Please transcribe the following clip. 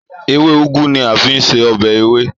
Èwe Ugwu ni a fi ń se ọbẹ̀ ewé